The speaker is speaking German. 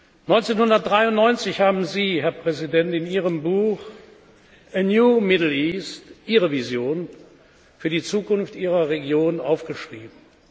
1993 haben Sie, Herr Präsident, in Ihrem Buch A New Middle East Ihre Vision für die Zukunft Ihrer Region aufgeschrieben.